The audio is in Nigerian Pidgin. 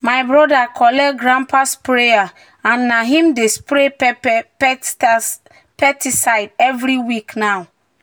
"my brother collect grandpa sprayer and na him dey spray pepper pesticide every week now."